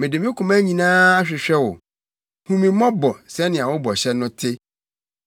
Mede me koma nyinaa ahwehwɛ wo; hu me mmɔbɔ sɛnea wo bɔhyɛ no te.